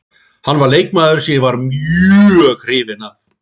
Hann var leikmaður sem ég var mjög hrifinn af.